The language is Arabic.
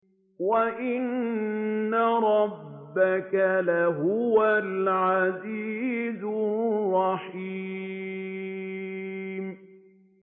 وَإِنَّ رَبَّكَ لَهُوَ الْعَزِيزُ الرَّحِيمُ